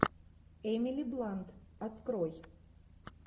эмили блант открой